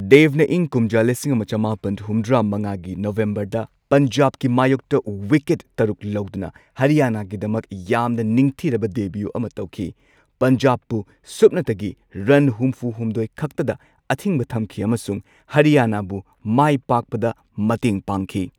ꯗꯦꯕꯅ ꯏꯪ ꯀꯨꯝꯖꯥ ꯂꯤꯁꯤꯡ ꯑꯃ ꯆꯃꯥꯄꯟ ꯍꯨꯝꯗ꯭ꯔꯥ ꯃꯉꯥꯒꯤ ꯅꯕꯦꯝꯕꯔꯗ ꯄꯟꯖꯥꯕꯀꯤ ꯃꯥꯌꯣꯛꯇ ꯋꯤꯀꯦꯠ ꯇꯔꯨꯛ ꯂꯧꯗꯨꯅ ꯍꯔꯤꯌꯥꯅꯥꯒꯤꯗꯃꯛ ꯌꯥꯝꯅ ꯅꯤꯡꯊꯤꯔꯕ ꯗꯦꯕ꯭ꯌꯨ ꯑꯃ ꯇꯧꯈꯤ꯫ ꯄꯟꯖꯥꯕꯄꯨ ꯁꯨꯞꯅꯇꯒꯤ ꯔꯟ ꯍꯨꯝꯐꯨ ꯍꯨꯝꯗꯣꯏ ꯈꯛꯇꯗ ꯑꯊꯤꯡꯕ ꯊꯝꯈꯤ ꯑꯃꯁꯨꯡ ꯍꯔꯤꯌꯥꯅꯥꯕꯨ ꯃꯥꯏꯄꯥꯛꯄꯗ ꯃꯇꯦꯡ ꯄꯥꯡꯈꯤ꯫